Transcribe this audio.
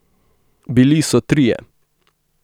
Bili so trije.